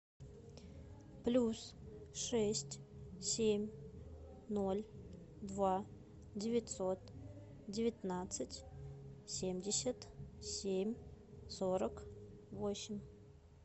плюс шесть семь ноль два девятьсот девятнадцать семьдесят семь сорок восемь